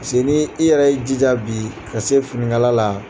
ni i yɛrɛ ye jija bi ka se finikala la.